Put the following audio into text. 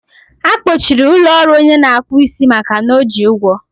a kpọchiri ụlọ ọrụ ọnye na-akpụ isi makana o ji ụgwọ